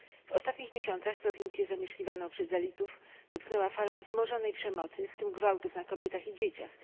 W ostatnich miesiącach prowincje zamieszkiwane przez dalitów dotknęła fala wzmożonej przemocy, w tym gwałtów na kobietach i dzieciach.